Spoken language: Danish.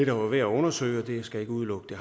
dog er værd at undersøge jeg skal ikke udelukke